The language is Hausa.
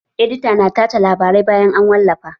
Edita na tace labarai bayan an wallafa